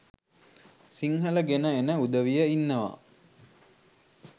සිංහල ගෙන එන උදවිය ඉන්නවා